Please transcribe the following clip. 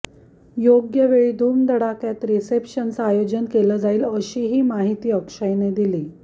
योग्य वेळी धूमधडाक्यात रिसेप्शनचं आयोजन केलं जाईल अशीही माहिती अक्षयने दिली